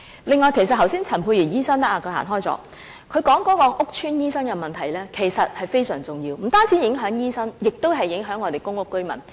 此外，其實剛才陳沛然醫生——他不在席——提及屋邨醫生的問題，這其實是非常重要的，不單影響醫生，也影響公屋居民。